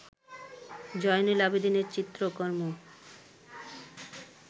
জয়নুল আবেদিনের চিত্রকর্ম